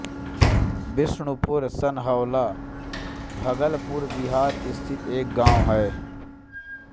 बिष्णुपुर सनहौला भागलपुर बिहार स्थित एक गाँव है